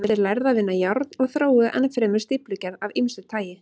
Þeir lærðu að vinna járn og þróuðu enn fremur stíflugerð af ýmsu tagi.